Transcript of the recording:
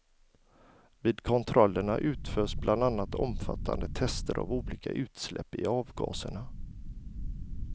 Vid kontrollerna utförs bland annat omfattande tester av olika utsläpp i avgaserna.